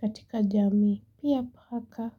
katika jami. Pia paka.